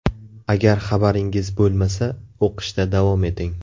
Agar xabaringiz bo‘lmasa, o‘qishda davom eting!